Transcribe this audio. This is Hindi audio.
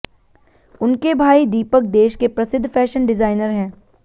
उनके भाई दीपक देश के प्रसिद्ध फैशन डिजाइनर हैं